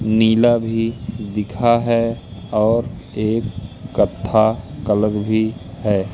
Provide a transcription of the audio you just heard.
नीला भी दिखा है और एक कथा कलर भी है।